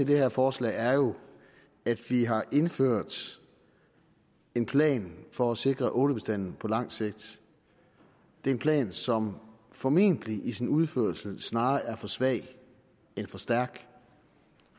her forslag er jo at vi har indført en plan for at sikre ålebestanden på lang sigt det er en plan som formentlig i sin udførelse snarere er for svag end for stærk